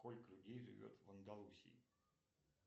сколько людей живет в андалусии